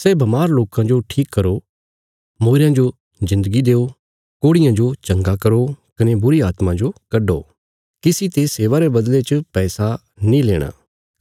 सै बमार लोकां जो ठीक करो मूईरयां जो जिन्दगी देओ कोढ़ियां जो चंगा करो कने बुरीआत्मां जो कड्डो किसी ते सेवा रे बदले च पैसा नीं लेणा